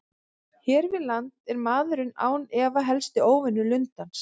Hér við land er maðurinn án efa helsti óvinur lundans.